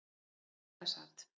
Við þetta sat.